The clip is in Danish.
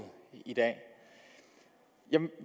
i dag jeg